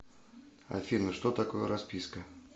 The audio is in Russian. афина что такое расписка